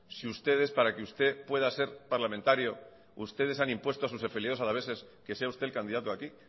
si para que usted pueda ser parlamentario ustedes han impuesto a sus afiliados alaveses que sea usted el candidato aquí